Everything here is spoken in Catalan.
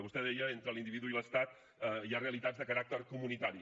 vostè deia entre l’individu i l’estat hi ha realitats de caràcter comunitari